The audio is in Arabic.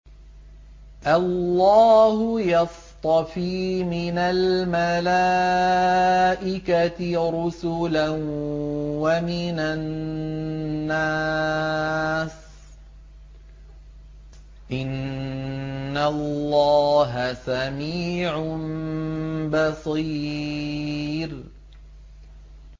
اللَّهُ يَصْطَفِي مِنَ الْمَلَائِكَةِ رُسُلًا وَمِنَ النَّاسِ ۚ إِنَّ اللَّهَ سَمِيعٌ بَصِيرٌ